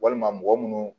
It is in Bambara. Walima mɔgɔ munnu